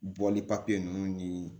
Bɔli papiye ninnu ni